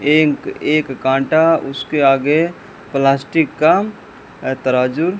एक एक कांटा उसके आगे प्लास्टिक का अ तराजू--